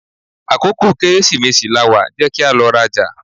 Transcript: Akókò Kẹ́rẹ́sìmesì lawà, jẹ́ kí a lọ rajà!